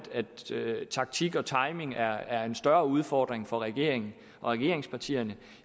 taktik og timing er er en større udfordring for regeringen og regeringspartierne